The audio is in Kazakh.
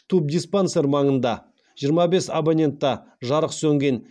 тубдиспансер маңында да жарық сөнген